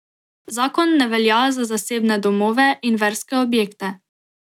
Zakon ne velja za zasebne domove in verske objekte.